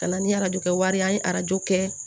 Ka na ni arajo kɛ wari ye an ye arajo kɛ